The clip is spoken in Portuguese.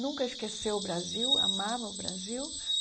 Nunca esqueceu o Brasil, amava o Brasil.